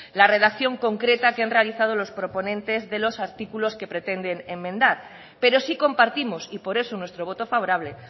la redacción concreta que han realizado los proponentes de los artículos que pretenden enmendar pero sí compartimos y por eso nuestro voto favorable